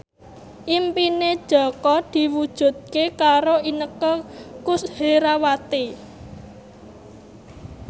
impine Jaka diwujudke karo Inneke Koesherawati